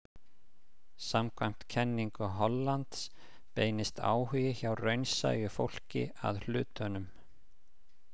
Samkvæmt kenningu Hollands beinist áhugi hjá raunsæju fólki að hlutum.